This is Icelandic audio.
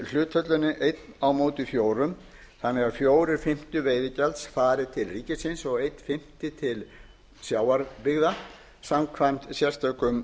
hlutfallinu ein fjögur þannig að fjórir fimmtu fari til ríkisins og einn fimmti til sjávarbyggða samkvæmt sérstökum